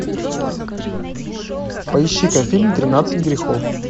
поищи ка фильм тринадцать грехов